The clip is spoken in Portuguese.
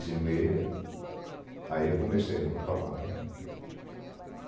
e meia, aí eu comecei a falar. Eh eh